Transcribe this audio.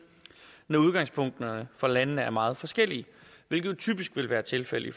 når udgangspunkterne for landene er meget forskellige hvilket typisk vil være tilfældet i